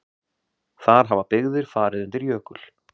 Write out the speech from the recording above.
Þar hafa byggðir farið undir jökul.